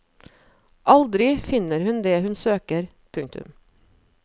Aldri finner hun det hun søker. punktum